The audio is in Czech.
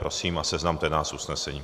Prosím, seznamte nás s usnesením.